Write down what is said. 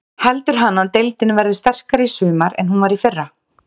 Heldur hann að deildin verði sterkari í sumar en hún var í fyrra?